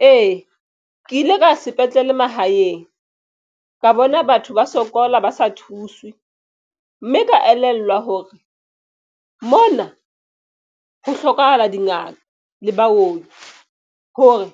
Ee, ke ile ka sepetlele mahaeng ka bona batho ba sokola ba sa thuswe mme ka elellwa hore mona ho hlokahala dingaka le baoki hore